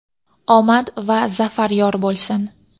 Omad va zafar yor bo‘lsin!.